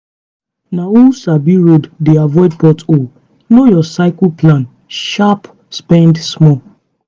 na who sabi road dey avoid pot hole. know your cycle plan sharp spend small.